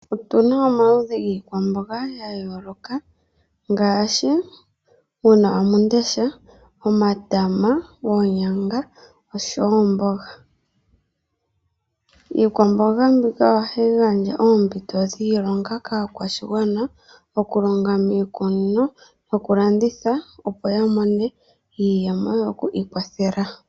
Otu na omaludhi giikwamboga ya yooloka ngaashi uunawamundesha, omatama, oonyanga oshowo oomboga. Iikwamboga mbika ohayi gandja oompito dhiilonga kaakwashigwana okulonga miikunino, nokulanditha opo ya mone iiyemo yo ku ikwathela.